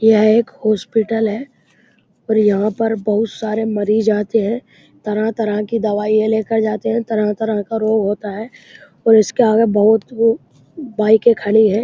यह एक हॉस्पिटल है और यहाँ पर बहुत सारे मरीज आते हैं। तरह-तरह की दवाइयाँ लेकर जाते हैं। तरह-तरह का रोग होता है। और इसके आगे बहुत वो बाइकें खड़ी हैं।